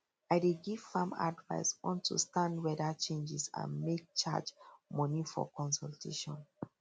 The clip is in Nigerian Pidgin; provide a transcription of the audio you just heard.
i dey give farm advise on to stand weather changes and make charge money for consultation